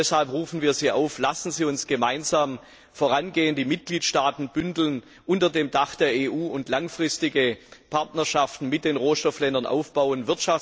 Deshalb rufen wir Sie auf Lassen Sie uns gemeinsam vorangehen, die Mitgliedstaaten unter dem Dach der EU vereinen und langfristige Partnerschaften mit den Rohstoffländern aufbauen!